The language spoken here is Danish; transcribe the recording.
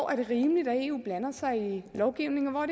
er rimeligt at eu blander sig i lovgivningen og